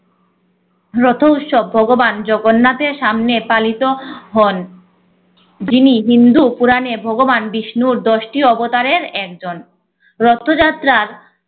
রথ উৎসব ভগবান জগন্নাথের সামনে পালিত হন যিনি হিন্দু পুরাণে ভগবান বিষ্ণুর দশটি অবতারের একজন। রথযাত্রার